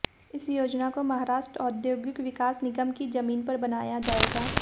इस योजना को महाराष्ट्र औद्योगिक विकास निगम की जमीन पर बनाया जाएगा